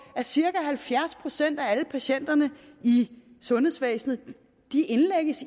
at cirka halvfjerds procent af patienterne i sundhedsvæsenet